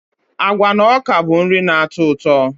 Agwa na ọka bụ nri na-atọ ụtọ.